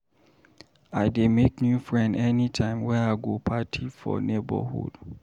I dey make new friend anytime wey I go party for neborhood.